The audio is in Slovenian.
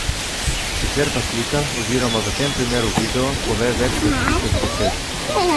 Sicer pa slika oziroma v tem primeru video pove več kot tisoč besed.